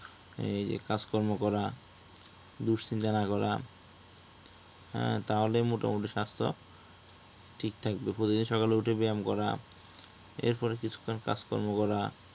এই যে কাজকর্ম করা, দুশ্চিন্তা না করা হ্যাঁ তাহলে মোটামুটি স্বাস্থ্য ঠিক থাকবে। প্রতিদিন সকালে উঠে ব্যয়াম করা এর পর কিছুক্ষণ কাজকর্ম করা